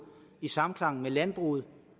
i samklang med landbruget